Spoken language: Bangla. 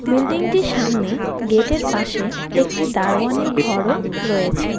বিল্ডিংটির সামনে গেটের পাশে একটি দারোয়ানের ঘরও রয়েছে.